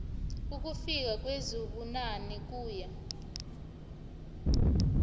ukufika kwezibunane kuye